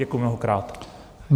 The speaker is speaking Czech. Děkuju mnohokrát.